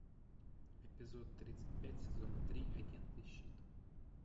эпизод тридцать пять сезона три агенты щит